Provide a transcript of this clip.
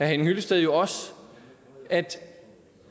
hyllested jo også at